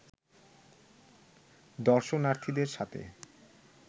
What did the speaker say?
দর্শনার্থীদের সাথে